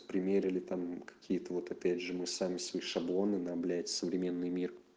примерили там какие-то вот опять же мы сами свои шаблоны на блять современный мир